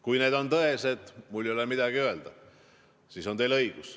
Kui need on tõesed, siis ei ole mul midagi öelda, siis on teil õigus.